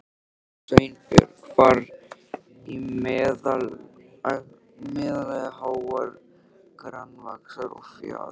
Sveinbjörn var í meðallagi hár, grannvaxinn og fjaður